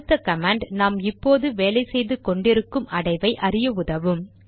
அடுத்த கமாண்ட் நாம் இப்போது வேலை செய்து கொண்டிருக்கும் அடைவை அறிய உதவும்